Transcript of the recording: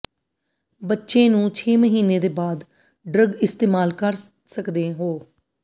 ਬੱਚੇ ਨੂੰ ਛੇ ਮਹੀਨੇ ਦੇ ਬਾਅਦ ਡਰੱਗ ਇਸਤੇਮਾਲ ਕਰ ਸਕਦੇ ਹੋ